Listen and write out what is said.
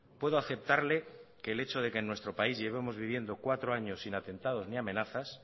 puedo aceptarle que el hecho de que en nuestro país llevemos viviendo cuatro años sin atentados ni amenazas